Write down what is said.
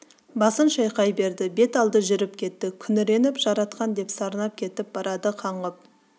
басын шайқай берді бет алды жүріп кетті күңіреніп жаратқан деп сарнап кетіп барады қаңғып